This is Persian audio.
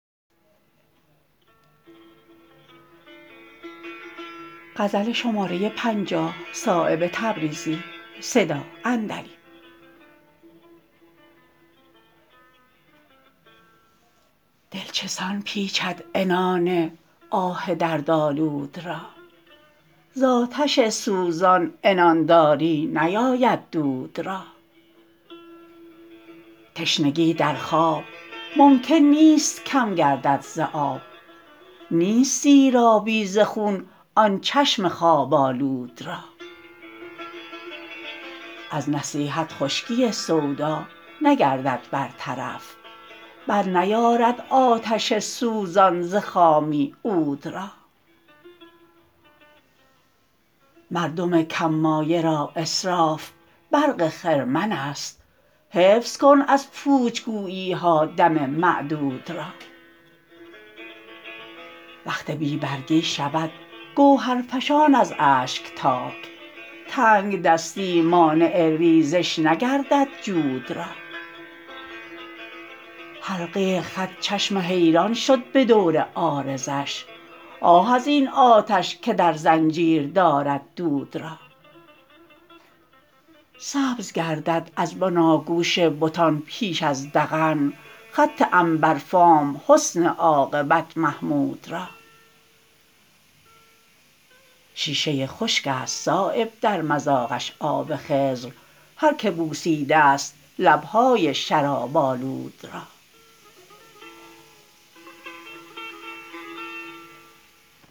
دل چسان پیچد عنان آه دردآلود را زآتش سوزان عنانداری نیاید دود را تشنگی در خواب ممکن نیست کم گردد ز آب نیست سیرابی ز خون آن چشم خواب آلود را از نصیحت خشکی سودا نگردد بر طرف برنیارد آتش سوزان ز خامی عود را مردم کم مایه را اسراف برق خرمن است حفظ کن از پوچ گویی ها دم معدود را وقت بی برگی شود گوهرفشان از اشک تاک تنگدستی مانع ریزش نگردد جود را حلقه خط چشم حیران شد به دور عارضش آه ازین آتش که در زنجیر دارد دود را سبز گردد از بناگوش بتان پیش از ذقن خط عنبرفام حسن عاقبت محمود را شیشه خشک است صایب در مذاقش آب خضر هر که بوسیده است لب های شراب آلود را